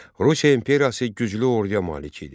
Rusiya İmperiyası güclü orduya malik idi.